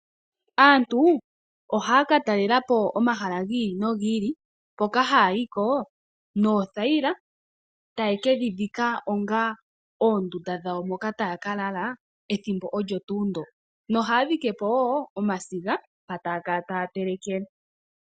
Aantu ohaya ka talela po omahala gi ili no gi ili hoka haya yi ko noothayila, taye ke dhi dhika onga oondunda dhawo moka taya ka lala ethimbo olyo tuu ndyo. Ohaya dhike po wo omasiga mpo taya kala taya telekele.